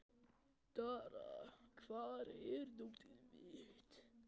Dara, hvar er dótið mitt?